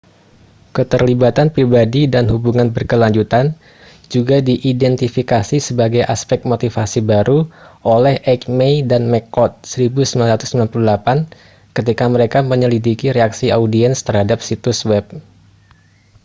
"keterlibatan pribadi dan hubungan berkelanjutan juga diidentifikasi sebagai aspek motivasi baru oleh eighmey dan mccord 1998 ketika mereka menyelidiki reaksi audiens terhadap situs web.